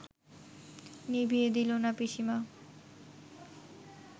নিভিয়ে দিল না পিসিমা